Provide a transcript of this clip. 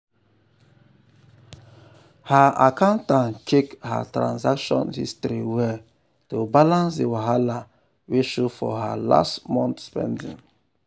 her accountant check her transaction history well to balance the wahala wey show for last month spending.